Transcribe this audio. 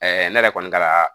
ne yɛrɛ kɔni kaa